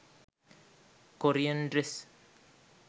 korean dress